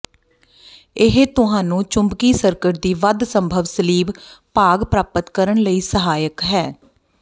ਇਹ ਤੁਹਾਨੂੰ ਚੁੰਬਕੀ ਸਰਕਟ ਦੀ ਵੱਧ ਸੰਭਵ ਸਲੀਬ ਭਾਗ ਪ੍ਰਾਪਤ ਕਰਨ ਲਈ ਸਹਾਇਕ ਹੈ